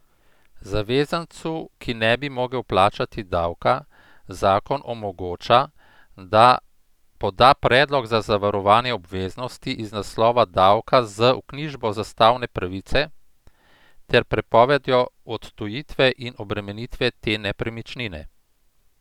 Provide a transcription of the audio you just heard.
Zavezancu, ki ne bi mogel plačati davka, zakon omogoča, da poda predlog za zavarovanje obveznosti iz naslova davka z vknjižbo zastavne pravice ter prepovedjo odtujitve in obremenitve te nepremičnine.